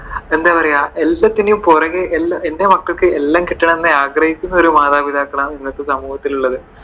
എന്താ പറയുവാ. എല്ലാത്തിന്റെയും പുറകെ എന്റെ മക്കൾക്കു എല്ലാ കിട്ടണം എന്ന് ആഗ്രഹിക്കുന്ന ഒരു മാതാപിതാക്കളാണ് ഇന്നത്തെ സമൂഹത്തിലുള്ളത്.